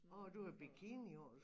Og du havde bikini på